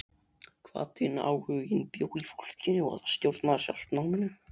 Hvatinn, áhuginn bjó í fólkinu og það stjórnaði sjálft náminu.